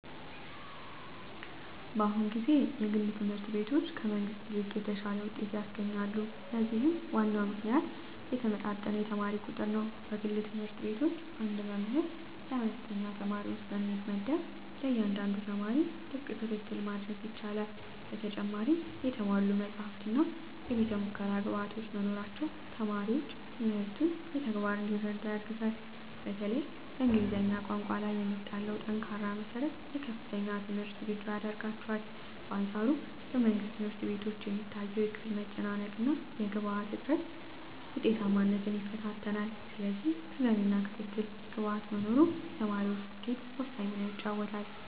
በአሁኑ ጊዜ የግል ትምህርት ቤቶች ከመንግሥት ይልቅ የተሻለ ውጤት ያስገኛሉ። ለዚህም ዋናው ምክንያት የተመጣጠነ የተማሪ ቁጥር ነው። በግል ትምህርት ቤቶች አንድ መምህር ለአነስተኛ ተማሪዎች ስለሚመደብ፣ ለእያንዳንዱ ተማሪ ጥብቅ ክትትል ማድረግ ይቻላል። በተጨማሪም የተሟሉ መጻሕፍትና የቤተ-ሙከራ ግብዓቶች መኖራቸው ተማሪዎች ትምህርቱን በተግባር እንዲረዱ ያግዛል። በተለይም በእንግሊዝኛ ቋንቋ ላይ የሚጣለው ጠንካራ መሠረት ለከፍተኛ ትምህርት ዝግጁ ያደርጋቸዋል። በአንፃሩ በመንግሥት ትምህርት ቤቶች የሚታየው የክፍል መጨናነቅና የግብዓት እጥረት ውጤታማነትን ይፈታተናል። ስለዚህ ተገቢው ክትትልና ግብዓት መኖሩ ለተማሪዎች ስኬት ወሳኝ ሚና ይጫወታል።